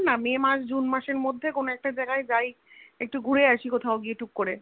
May মাস June মাসের মধ্যে কোনো একটা জায়গায় যাই একটু ঘুরে আসি কোথায় গিয়ে টুক করে